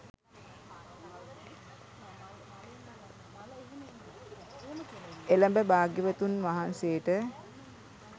එළඹ භාග්‍යවතුන් වහන්සේට